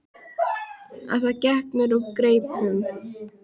En það gekk mér úr greipum.